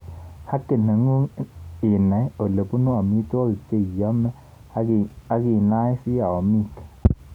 Haki nengung inai olepunu amitwakik cheiome akinoisi amiik